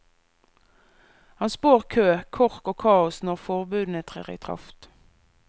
Han spår kø, kork og kaos når forbudene trer i kraft.